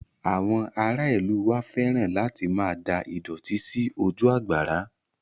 Àwọn ará ìlú u wa fẹ́ràn láti máa da ìdọ̀tí sí ojú àgbàrá